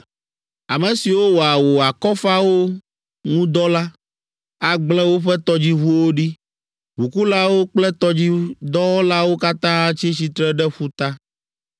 Ame siwo wɔa wò akɔfawo ŋu dɔ la, agble woƒe tɔdziʋuwo ɖi, ʋukulawo kple tɔdzidɔwɔlawo katã atsi tsitre ɖe ƒuta.